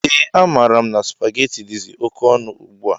Ee a maara mụ na supaghetti dizi oké ọnụ ugbua.